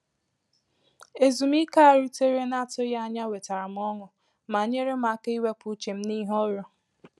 Ezùmíkè a a rutere n’atụghị ànyà wetara m ọṅụ, ma nyeere m áká iwepụ uche m n’ìhè ọrụ